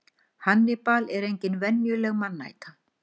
Hannibal er engin venjuleg mannæta.